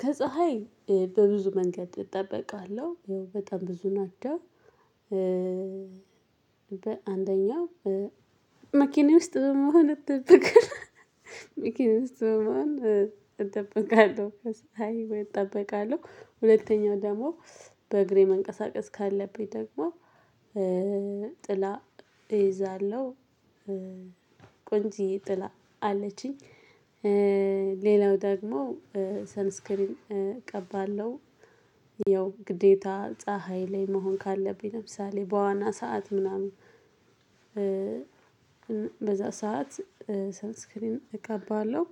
ከፀሀይ በብዙ መንገድ እጠበቃለሁ። በጣም ብዙ ናቸው። በአንደኛው መኪናዬ ውስጥ በመሆን እጠበቃለሁ። መኪናዬ ውስጥ በመሆን እጠበቃለሁ። ሀይሉን እጠበቃለሁ። ሁለተኛው ደግሞ በእግሬ መንቀሳቀስ ካለብኝ ደግሞ ጥላ እይዛለሁ። ቆንጅዬ ጥላ አለችኝ። ሌላው ደግሞ ሰንስክሪን እቀባለሁ። ያው ግዴታ ፀሀይ ላይ መሆን ካለብኝ ለምሳሌ በዋና ሰዓት ምናምን በዛ ሰዓት ሰንስክሪን እቀባለሁ።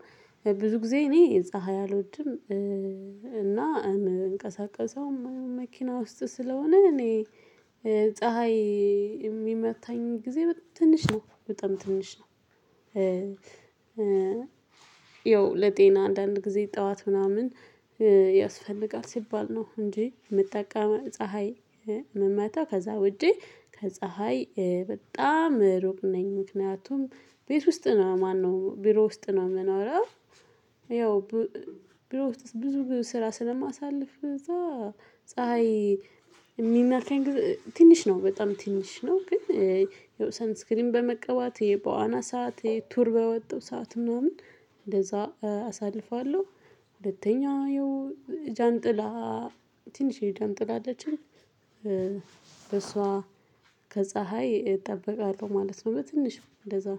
ብዙ ጊዜ እኔ ፀሀይ አልወድም። እና እምንቀሳቀሰው መኪና ውስጥ ስለሆነ እኔ ፀሀይ የሚመታኝ ጊዜ ትንሽ ነው። በጣም ትንሽ ነው። ያው ለጤና አንዳንድ ጊዜ ጠዋት ምናምን ያስፈልጋል ሲባል ነው እንጂ የምጠቀመው ፀሀይ ምመታው ከዛ ውጪ ከፀሀይ በጣም ሩቅ ነኝ። ምክንያቱም ቤት ውስጥ ነው ማነው ቢሮ ውስጥ ነው የምኖረው። ያው ቢሮ ውስጥ ብዙ ስራ ስለማሳልፍ እዛ ፀሀይ የሚነካኝ ጊዜ ትንሽ ነው። በጣም ትንሽ ነው። ግን ያው ሰንስክሪን በመቀባት፣ በዋና ሰዓት ይሄ ቱር በወጣው ሰዓት ምናምን እንደዛ አሳልፋለሁ። ሁለተኛ ያው ጃንጥላ ትንሽዬ ጃንጥላ አለችኝ። ከፀሀይ እጠበቃለሁ ማለት ነው በትንሹ እንደዛው።